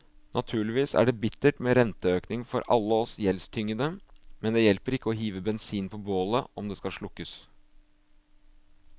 Naturligvis er det bittert med renteøkning for alle oss gjeldstyngede, men det hjelper ikke å hive bensin på bålet om det skal slukkes.